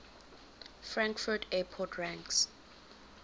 frankfurt airport ranks